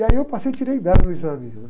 E aí eu passei, tirei dez no exame, né?